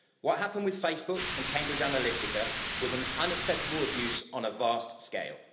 What happened with Facebook and Cambridge Analytica was an unacceptable abuse on a vast scale.